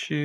Ṣé